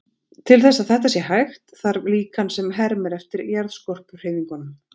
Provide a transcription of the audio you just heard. Til þess að þetta sé hægt, þarf líkan sem hermir eftir jarðskorpuhreyfingunum.